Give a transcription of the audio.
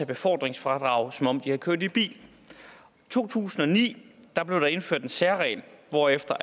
befordringsfradraget som om man havde kørt i bil i to tusind og ni blev der indført en særregel hvorefter